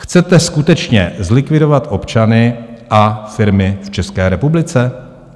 Chcete skutečně zlikvidovat občany a firmy v České republice?